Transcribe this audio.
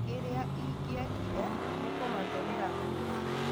Kĩrĩa ingĩekire nĩkũmatũmĩra-tu ũhoro.